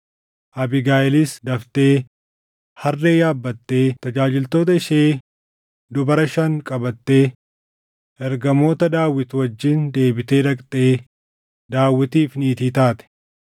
Abiigayiilis daftee harree yaabbattee tajaajiltoota ishee dubara shan qabattee ergamoota Daawit wajjin deebitee dhaqxee Daawitiif niitii taate.